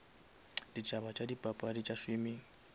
ditaba tša dipapadi tša swimming